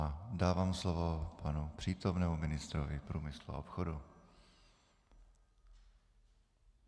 A dávám slovo panu přítomnému ministrovi průmyslu a obchodu.